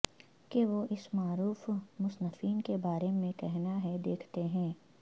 کے وہ اس معروف مصنفین کے بارے میں کہنا ہے دیکھتے ہیں